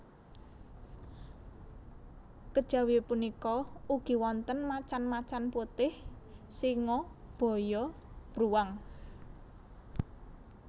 Kejawi punika ugi wonten macan macan putih singa baya bruwang